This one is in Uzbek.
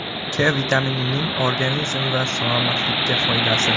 K vitaminining organizm va salomatlikka foydasi.